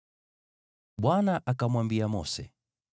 Bwana akamwambia Mose,